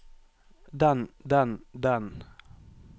den den den